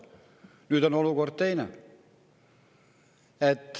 Nüüd on olukord teine.